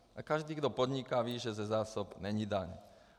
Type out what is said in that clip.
A každý, kdo podniká, ví, že ze zásob není daň.